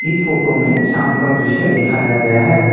इस फोटो में शाम का दृश्य दिखाया गया है।